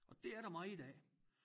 Og det er der meget af